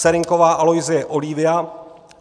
Serynková Aloisie Oliva